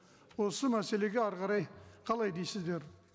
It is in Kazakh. осы мәселеге әрі қарай қалай дейсіздер